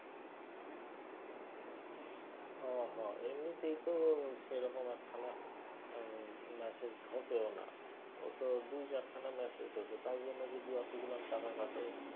হ হ এমনিতেই তো সেরকম একখানা ম্যাসেজ ঢোকে না। ও তো দুই চারখানা ম্যাসেজ ঢোকে তার জন্য যদি অতগুলান টাকা কাটে।